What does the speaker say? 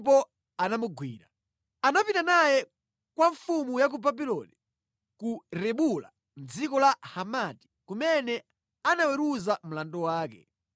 Anagwidwa napita naye kwa mfumu ya ku Babuloni ku Ribula mʼdziko la Hamati, kumene anagamula mlandu wake.